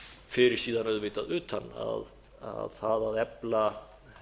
fyrir síðan auðvitað utan að það að efla